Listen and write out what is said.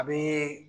A bɛ